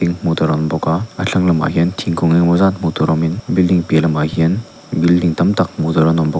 hmuhtur a awm bawk a a thlang lamah hian thingkung engemaw zat hmuhtur awmin building piah lamah hian building tam tak hmuhtur an awm bawk.